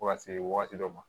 Fo ka se wagati dɔ ma